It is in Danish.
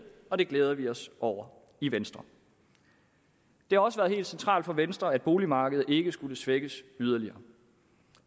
og det glæder vi os over i venstre det har også været helt centralt for venstre at boligmarkedet ikke skulle svækkes yderligere